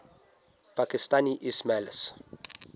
pakistani ismailis